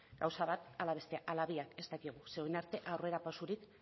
gauza bat ala bestea ala biak ez dakigu ze orain arte aurrera pausorik